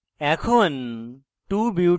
এখন